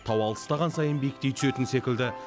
тау алыстаған сайын биіктей түсетін секілді